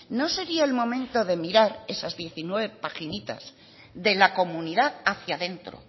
no sería el momento de mirar esas diecinueve paginitas de la comunidad hacia dentro